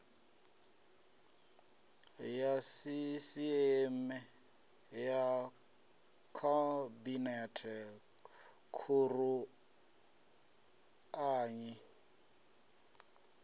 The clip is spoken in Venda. ya sisieme ya khabinete khuruanyi